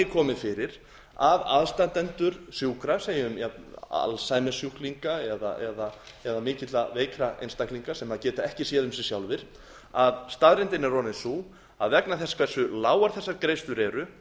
komið fyrir að aðstandendur sjúkra lögum alzheimersjúklinga eða mikið veikra einstaklinga sem geta ekki séð um sig sjálfir að staðreyndin er orðin sú að vegna þess hversu lágar þessar greiðslur eru